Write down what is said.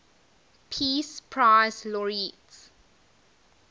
peace prize laureates